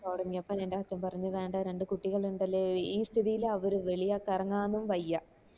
തൊടങ്ങിയപ്പോ ൻറെ അച്ഛൻ പറഞ്ഞു വേണ്ട രണ്ട് കുട്ടികൾ ഇണ്ടല്ലോ ഈ സ്ഥിതിയിൽ അവർക്ക് വെളിയിലേക്ക് ഇറങ്ങാനും